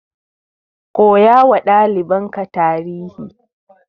Koyawa ɗalibanka tarihi.